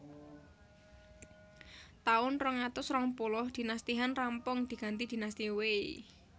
Taun rong atus rong puluh Dinasti Han rampung diganti Dinasti Wei